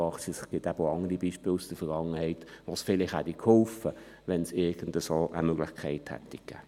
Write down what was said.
Es gibt eben auch andere Beispiele aus der Vergangenheit, wo es vielleicht geholfen hätte, wenn es irgendeine solche Möglichkeit gegeben hätte.